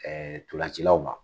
ntolancilaw ma.